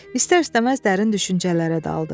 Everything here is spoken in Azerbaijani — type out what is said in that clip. İstər-istəməz dərin düşüncələrə daldı.